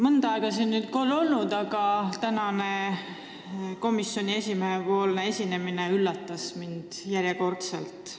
Mõnda aega seda pole olnud, aga tänane komisjoni esimehe esinemine üllatas mind järjekordselt.